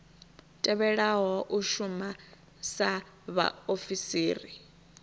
tevhelaho u shuma sa vhaofisiri